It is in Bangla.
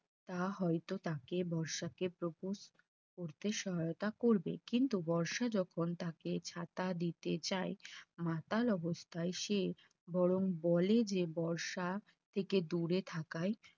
তা হয়তো তাকে বর্ষাকে Propose করতে সহায়তা করবে। কিন্তু বর্ষা যখন তাকে ছাতা দিতে যাই মাতাল অবস্থায় সে বরং বলে যে বর্ষা থেকে দূরে থাকাই